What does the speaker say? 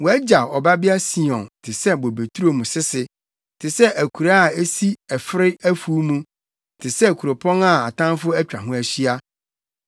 Wɔagyaw Ɔbabea Sion te sɛ bobeturo mu sese te sɛ akuraa a esi ɛfere afuw mu, te sɛ kuropɔn a atamfo atwa ho ahyia.